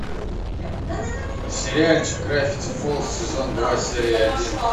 сериальчик гравити фолз сезон два серия один